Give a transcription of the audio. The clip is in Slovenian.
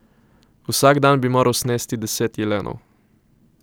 Vsak dan bi moral snesti deset jelenov.